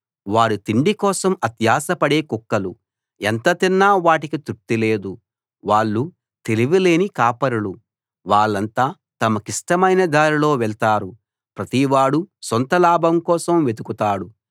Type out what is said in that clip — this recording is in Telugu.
వారు తిండి కోసం అత్యాశపడే కుక్కలు ఎంత తిన్నా వాటికి తృప్తి లేదు వాళ్ళు తెలివిలేని కాపరులు వాళ్ళంతా తమకిష్టమైన దారిలో వెళతారు ప్రతివాడూ సొంతలాభం కోసం వెతుకుతాడు